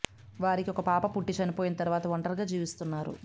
వారికి ఒక పాప పుట్టి చనిపోయిన తర్వాత ఒంటరిగా జీవిస్తున్నారు